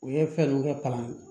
U ye fɛn ninnu kɛ kalan ye